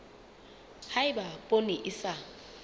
ha eba poone e sa